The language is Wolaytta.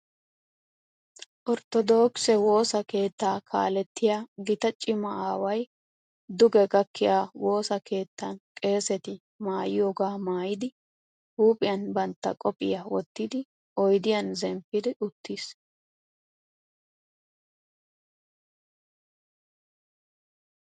Orttodookise woosa keettaa kaalettiya gita cima aaway duge gakkiya woosaa keettan qeeseti maayiyogaa maayidi huuphiyan bantta qophiya wottidi oydiyan zemppidi uttiis.